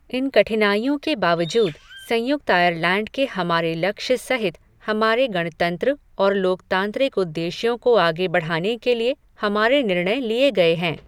इन कठिनाइयों के बावजूद, संयुक्त आयरलैंड के हमारे लक्ष्य सहित हमारे गणतंत्र और लोकतांत्रिक उद्देश्यों को आगे बढ़ाने के लिए हमारे निर्णय लिए गए हैं।